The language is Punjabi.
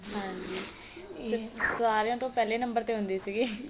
ਹਾਂਜੀ ਤੇ ਸਾਰੀਆ ਤੋਂ ਪਹਿਲੇਂ number ਤੇ ਹੁੰਦੀ ਸੀਗੀ